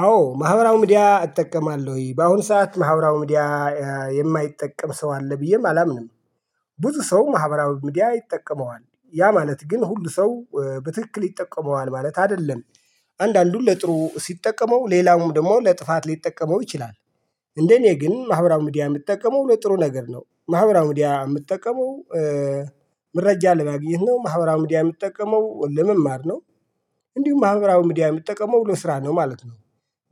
አዎ ማህበራዊ ሚድያ እጠቀማለሁኝ በአሁን ሰዓት ማህበራዊ ሚድያ የማይጠቀም ሰው አለ ብዬም አላምንም። ብዙ ሰው ማህበራዊ ሚድያ ይጠቀመዋል ያ ማለት ግን ሁሉ ሰው በትክክል ይጠቀመዋል ማለት አይደለም። አንዳንዱን ለጥሩ ሲጠቀመው ሌላውም ደግሞ ለጥፋት ሊጠቀመው ይችላል። እንደኔ ግን ማህበራዊ ሚድያ ምጠቀመው ጥሩ ነገር ነው ማህበራዊ ሚድያ የምጠቀመው። መረጃ ለማግኘት ነው ማህበራዊ ሚድያ የምትጠቀመው ለመማር ነው። እንዲሁም ማህበራዊ ሚድያ የምትጠቀመው ለስራ ነው ማለት ነው።